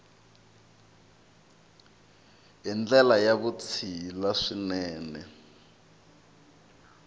hi ndlela ya vutshila swinene